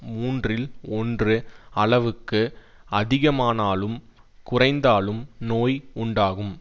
மூன்றில் ஒன்று அளவுக்கு அதிகமானாலும் குறைந்தாலும் நோய் உண்டாகும்